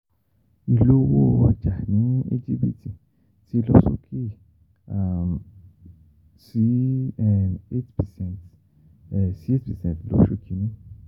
Ìlówó ọjà ní Íjíbítì ti lọ sókè um sí um eight percent um sí eight percent lóṣù Kínní